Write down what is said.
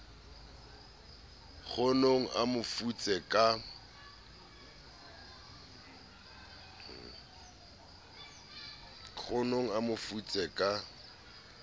kgonong a mo futse ka